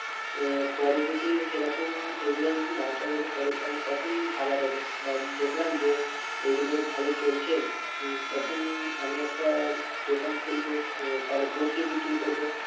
আহ পরে যদি সেরকম এগুলো যদি না চলে পরে তাহলে তখন ভাবা যাবে বা দেখলাম যে এগুলো ভালো চলছে উহ তখন আমি একটা দোকান খুলবো আহ তাহলে বসে বিক্রি করব।